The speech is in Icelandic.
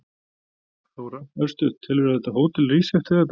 Þóra: Örstutt, telurðu að þetta hótel rísi eftir þetta?